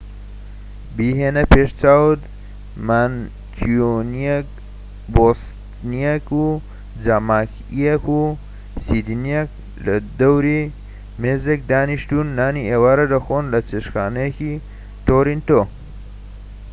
بیهێنە پێش چاوت مانکیونییەك و بۆستنیەک و جامایکیەك و سیدنییەك لە دەوری مێزێك دانیشتون و نانی ئێوارە دەخۆن لە چێشتخانەیەکی تۆرۆنتۆ